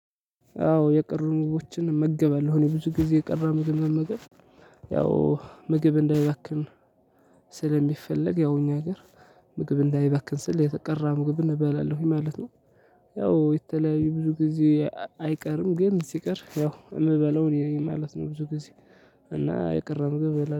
አዎ የቀሩን ምግቦችን እመግባለሁ እኔ ብዙ ጊዜ የቀረ ምግብ መመገብ ያው ምግብ እንዳይባክን ስለሚፈለግ ያው እኛ ሀገር ምግብ እንዳይባክን ስል የተቀራ ምግብ እንበላለን ማለት ነው። ያው የተለያዩ ብዙ ጊዜ አይቀርም ግን ሲቀር ያው የምበለው እኔ ነኝ ማለት ነው ብዙ ጊዜ። እና የቀረም ገበላ